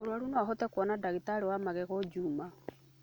Mũrwaru noahote kũona dagĩtarĩ wa magego juma?